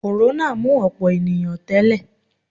Kòrónà mú ọ̀pọ̀ ènìyàn tẹ́lẹ̀